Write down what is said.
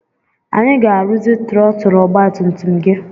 Anyị ga-arụzi trọtụl ọgbatumtum gị.